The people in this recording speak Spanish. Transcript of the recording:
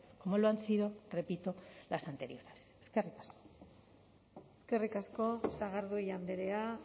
como lo han sido repito las anteriores eskerrik asko eskerrik asko sagardui andrea